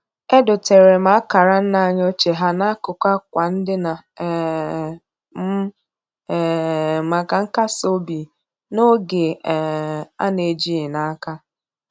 Edoteere m akara nna anyị ochie ha n'akụkụ akwa ndina um m um maka nkas obi n'oge um a na-ejighị n'aka.